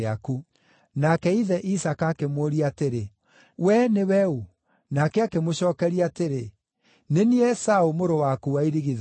Nake ithe Isaaka akĩmũũria atĩrĩ, “We nĩwe ũ?” Nake akĩmũcookeria atĩrĩ, “Nĩ niĩ Esaũ, mũrũ waku wa irigithathi.”